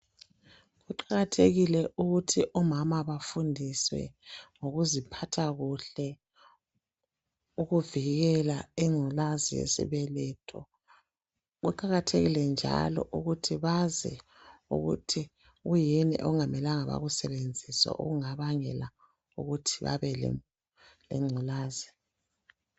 Kuqakathekile ukuthi omama bafundiswe ngokuziphatha kuhle ukuvikela ingculazi yesibeletho kuqakatheke njalo ukuthi bazi ukuthi kuyini okungamelanga bakusebenzise okungabangela ukuthi babe lengculazi.